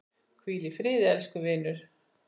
Hvíl í friði elsku vinur!